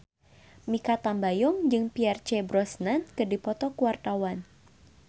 Mikha Tambayong jeung Pierce Brosnan keur dipoto ku wartawan